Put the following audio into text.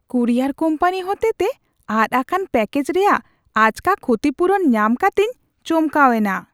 Courier company ᱦᱚᱛᱮᱛᱮ ᱟᱫ ᱟᱠᱟᱱ ᱯᱮᱠᱮᱡ ᱨᱮᱭᱟᱜ ᱟᱪᱠᱟ ᱠᱷᱩᱛᱤᱯᱩᱨᱩᱱ ᱧᱟᱢ ᱠᱟᱛᱮᱧ ᱪᱚᱢᱠᱟᱣ ᱮᱱᱟ ᱾